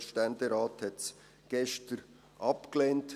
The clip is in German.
Der Ständerat hat es gestern abgelehnt.